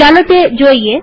ચાલો તે જોઈએ